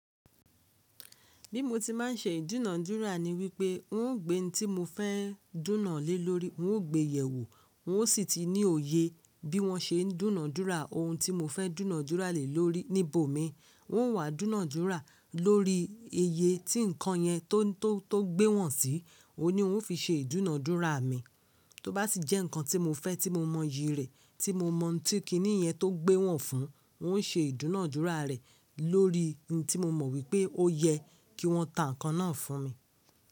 Bí mo tí máa ń ṣe ìdúnàádúrà ni wípé n ó gbé ohun tí mo fẹ́ dúnàá lé lórí, n ó gbé yewo, n ó sì ti ní òye bí wọ́n ṣe ń dúnàádúrà ohun tí mo fẹ́ dúnàádúrà lé lórí níbò mi. N ó wá dúnàádúrà lórí iye tí nǹkan yẹn tó gbé wọ̀n sí, òun ni n ó fi ṣe ìdúnàádúrà mi. Tó bá sì jẹ́ nǹkan tí mo fẹ́ tí mo mọ iyì rẹ̀, tí mo mọ̀ tí kínìyẹn tó gbé wọ̀n fún, n ó ṣe ìdúnàádúrà rẹ̀ lórí ohun tí mo mọ̀ wípé ó yẹ kí wọ́n tà nǹkan náà fún mi.